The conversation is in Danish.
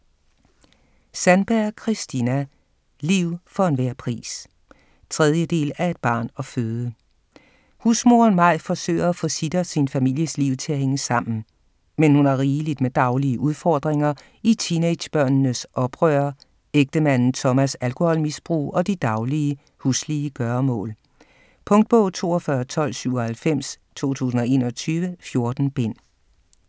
Sandberg, Kristina: Liv for hver en pris 3. del af Et barn at føde. Husmoderen Maj forsøger at få sit og sin families liv til at hænge sammen. Men hun har rigeligt med daglige udfordringer i teenagebørnenes oprør, ægtemanden Tomas' alkoholmisbrug og de daglige, huslige gøremål. Punktbog 421297 2021. 14 bind.